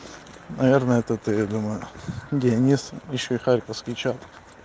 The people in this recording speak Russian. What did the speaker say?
наверное это ты я думаю денис ещё и харьковский чат